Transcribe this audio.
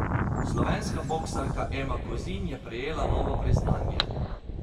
Slovenska boksarka Ema Kozin je prejela novo priznanje.